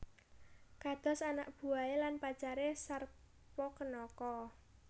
Kados anak buah e lan pacar e Sarpakenaka